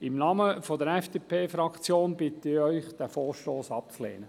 Im Namen der FDP-Fraktion bitte ich Sie, diesen Vorstoss abzulehnen.